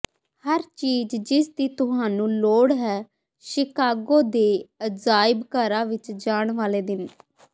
ਹਰ ਚੀਜ਼ ਜਿਸਦੀ ਤੁਹਾਨੂੰ ਲੋੜ ਹੈ ਸ਼ਿਕਾਗੋ ਦੇ ਅਜਾਇਬ ਘਰਾਂ ਵਿੱਚ ਜਾਣ ਵਾਲੇ ਦਿਨ